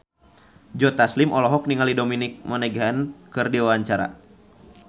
Joe Taslim olohok ningali Dominic Monaghan keur diwawancara